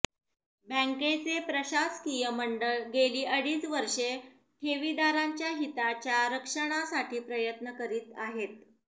बँकेंचे प्रशासकीय मंडळ गेली अडीच वर्षे ठेवीदारांच्या हिताच्या रक्षणासाठी प्रयत्न करीत आहे